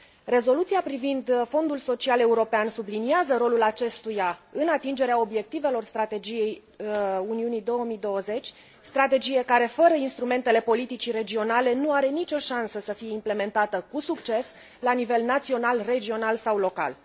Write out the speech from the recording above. Rezoluția privind Fondul Social European subliniază rolul acestuia în atingerea obiectivelor strategiei Uniunii 2020, strategie care fără instrumentele politicii regionale nu are nicio șansă să fie implementată cu succes la nivel național, regional sau local.